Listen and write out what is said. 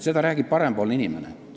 Seda räägib parempoolne inimene.